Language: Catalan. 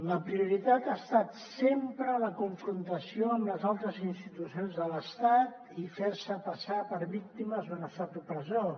la prioritat ha estat sempre la confrontació amb les altres institucions de l’estat i fer se passar per víctimes d’un estat opressor